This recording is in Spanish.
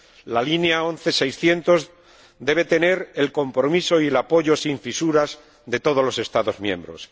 La línea 11600 debe tener el compromiso y el apoyo sin fisuras de todos los Estados miembros.